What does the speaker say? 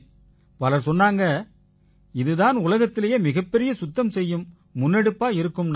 பலர் சொன்னாங்க இது தான் உலகத்திலேயே மிகப்பெரிய சுத்தம் செய்யும் முன்னெடுப்பா இருக்கும்னாங்க